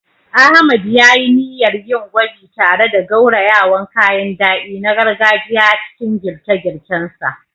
Ahmad ya yi niyyar yin gwaji tare da gaurayawan kayan dadi na gargajiya a cikin girke-girken sa.